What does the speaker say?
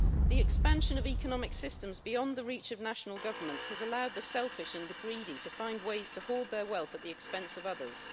The expansion of economic systems beyond the reach of national governments has allowed the selfish and the greedy to find ways to hoard their wealth at the expense of others.